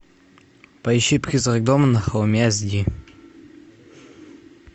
поищи призрак дома на холме эс ди